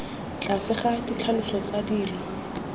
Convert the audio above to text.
tlase ga ditlhaloso tsa dilo